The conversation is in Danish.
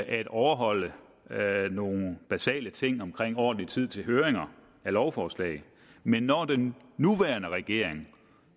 at overholde nogle basale ting omkring ordentlig tid til høringer af lovforslag men når den nuværende regering